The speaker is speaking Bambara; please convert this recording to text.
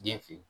Den fe yen